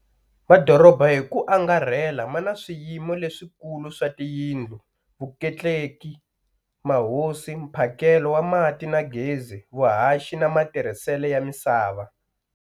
Madorobha hiku angarhela mana swiyimiso leswi kulu swa tiyindlu, vutleketli, mahosi, mphakelo wa mati na gezi, vuhaxi na matirhisele ya misava.